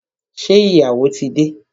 Ṣé ìyàwó tí dé?